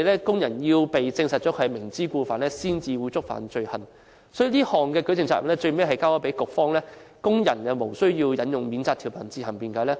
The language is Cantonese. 工人只會被證實"明知故犯"後，才會觸犯罪行，而有關舉證責任最後在局方，工人無須引用免責條文自行辯解。